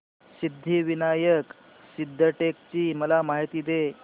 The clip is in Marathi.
सिद्धिविनायक सिद्धटेक ची मला माहिती दे